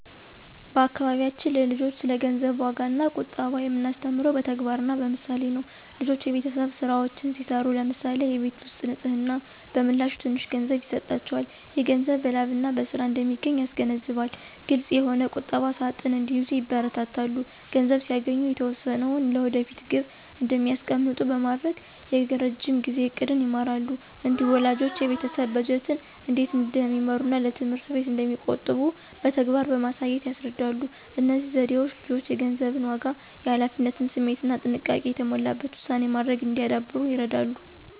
በአካባቢያችን ለልጆች ስለ ገንዘብ ዋጋና ቁጠባ የምናስተምረው በተግባርና በምሳሌ ነው። ልጆች የቤተሰብ ሥራዎችን ሲሠሩ (ለምሳሌ የቤት ውስጥ ንፅህና) በምላሹ ትንሽ ገንዘብ ይሰጣቸዋል። ይህ ገንዘብ በላብና በሥራ እንደሚገኝ ያስገነዝባል። ግልፅ የሆነ ቁጠባ ሣጥን እንዲይዙ ይበረታታሉ። ገንዘብ ሲያገኙ የተወሰነውን ለወደፊት ግብ እንዲያስቀምጡ በማድረግ የረዥም ጊዜ ዕቅድን ይማራሉ። እንዲሁም ወላጆች የቤተሰብ በጀትን እንዴት እንደሚመሩና ለትምህርት እንዴት እንደሚቆጥቡ በተግባር በማሳየት ያስረዳሉ። እነዚህ ዘዴዎች ልጆች የገንዘብን ዋጋ፣ የኃላፊነት ስሜትና ጥንቃቄ የተሞላበት ውሳኔ ማድረግ እንዲያዳብሩ ይረዳሉ።